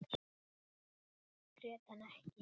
Grét hann ekki.